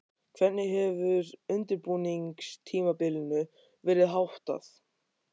Hvernig hefur undirbúningstímabilinu verið háttað?